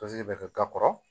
bɛ kɛ ba kɔrɔ